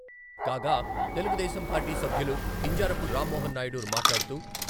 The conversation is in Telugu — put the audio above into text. కాగా, తెలుగుదేశం పార్టీ సభ్యులు కింజారపు రామ్మోహన్నాయుడు మాట్లాడుతూ...